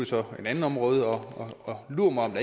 så et andet område og lur mig om